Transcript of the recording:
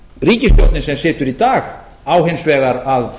ríkisstjórnin sem situr í dag á hins vegar að